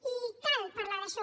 i cal parlar d’això